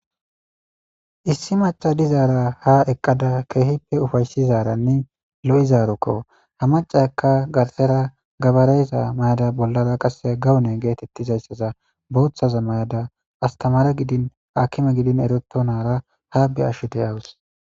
Issi maca dizara ha eqada kehipe ufayssizanne lo'izaraokko. izakka garssera gabare mayada bollara gawone gettetizayssa bothaza mayada astamare giddin akime giddin eretonara ha be'ashe de'awus.